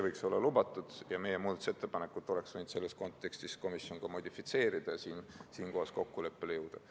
Komisjon oleks võinud meie muudatusettepanekut selles kontekstis modifitseerida ja siinkohas kokkuleppele jõuda.